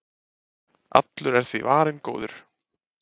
allur er því varinn góður